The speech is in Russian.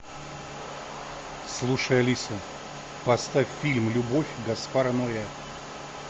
слушай алиса поставь фильм любовь гаспара ноэ